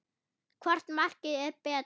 Hvort markið er betra?